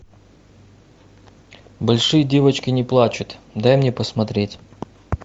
большие девочки не плачут дай мне посмотреть